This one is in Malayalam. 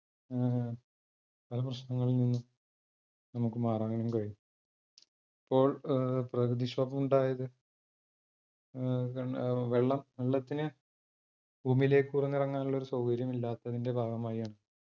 ഉം പല പ്രശ്നങ്ങളിൽ നിന്നും നമുക്ക് മാറാനും കഴിയും. ഇപ്പോൾ ഏർ പ്രകൃതി ക്ഷോഭമുണ്ടായത് ഏർ വെള്ളം വെള്ളത്തിന് ഭൂമിയിലേക്ക് ഇറങ്ങാനുള്ളൊരു സൗകര്യമില്ലാത്തതിന്റെ ഭാഗമായാണ്.